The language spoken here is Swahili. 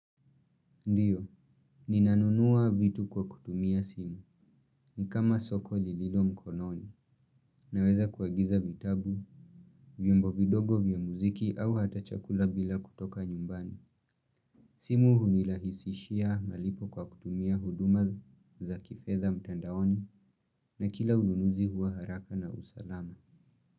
Ndiyo, ninanunua vitu kwa kutumia simu. Ni kama soko lililo mkononi. Naweza kuagiza vitabu, vyombo vidogo vyo muziki au hata chakula bila kutoka nyumbani. Simu hunirahisishia malipo kwa kutumia huduma za kifedha mtandaoni na kila ununuzi huwa haraka na usalama.